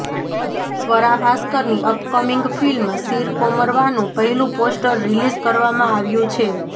સ્વરા ભાસ્કરની upcoming film Sheer કોરમવાનું પહેલું પોસ્ટર રિલીઝ કરવામાં આવ્યું છે